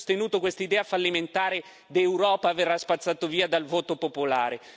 Chi ha sostenuto quest'idea fallimentare di Europa verrà spazzato via dal voto popolare.